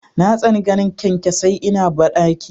Na tsani ganin kyankyasai ina bandaki.